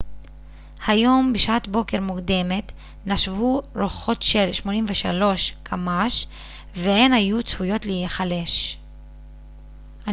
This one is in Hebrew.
היום בשעת בוקר מוקדמת נשבו רוחות של כ-83 קמ ש והן היו צפויות להיחלש